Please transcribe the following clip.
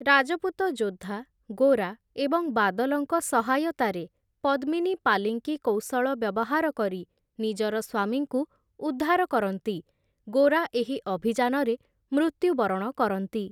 ରାଜପୁତ ଯୋଦ୍ଧା ଗୋରା ଏବଂ ବାଦଲଙ୍କ ସହାୟତାରେ, ପଦ୍ମିନୀ ପାଲିଙ୍କି କୌଶଳ ବ୍ୟବହାର କରି ନିଜର ସ୍ୱାମୀଙ୍କୁ ଉଦ୍ଧାର କରନ୍ତି, ଗୋରା ଏହି ଅଭିଯାନରେ ମୃତ୍ୟୁବରଣ କରନ୍ତି ।